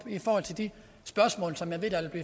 i forhold til de spørgsmål som